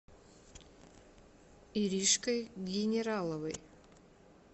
иришкой генераловой